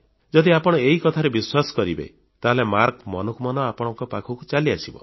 ଯଦି ଆପଣ ଏହି କଥାରେ ବିଶ୍ୱାସ କରିବେ ତାହେଲେ ମାର୍କସ୍ ମନକୁ ମନ ଆପଣଙ୍କ ପାଖକୁ ଚାଲିଆସିବ